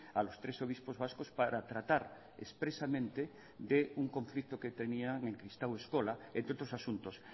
a los tres obispos vascos para tratar expresamente de un conflicto que tenían en kristau eskola entre otros asuntos